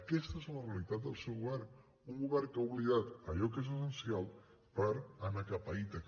aquesta és la realitat del seu govern un govern que ha oblidat allò que és essencial per anar cap a ítaca